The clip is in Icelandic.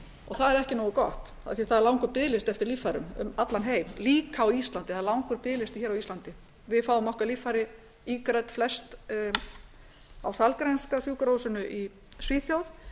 það er ekki nógu gott af því það er langur biðlisti eftir líffærum um allan heim líka á íslandi það er langur biðlisti hér á íslandi við fáum okkar líffæri ígrædd flest á sahlgrenska sjúkrahúsinu í svíþjóð